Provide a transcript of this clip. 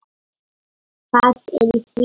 Hvað er í því?